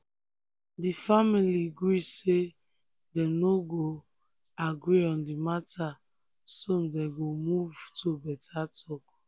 di family gree say dem no go agree on di matter so dem move to better talk.